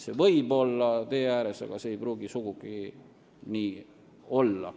Need võivad olla tee ääres, aga see ei pruugi sugugi nii olla.